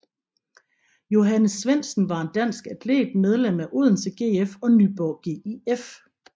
Johannes Svendsen var en dansk atlet medlem af Odense GF og Nyborg GIF